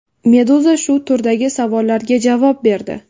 Meduza shu turdagi savollarga javob berdi .